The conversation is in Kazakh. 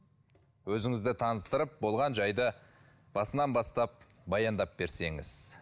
өзіңізді таныстырып болған жайды басынан бастап баяндап берсеңіз